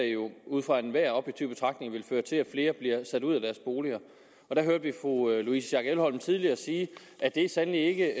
jo ud fra enhver objektiv betragtning vil føre til at flere bliver sat ud af deres boliger der hørte vi fru louise schack elholm tidligere sige at det sandelig ikke